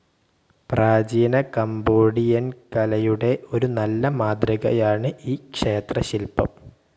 പ്രാചീന കംബോഡിയൻകലയുടെ ഒരു നല്ല മാതൃകയാണ് ഈ ക്ഷേത്രശില്പം.